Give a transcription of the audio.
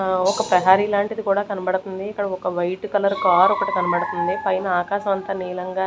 ఆ ఒక ప్రహరీ లాంటిది కూడా కనబడుతుంది ఇక్కడ ఒక వైట్ కలర్ కార్ ఒకటి కనబడుతుంది పైన ఆకాశం అంతా నీలంగా --